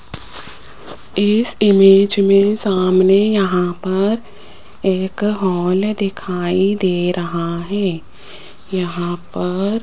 इस इमेज में सामने यहां पर एक हॉल दिखाई दे रहा है यहां पर --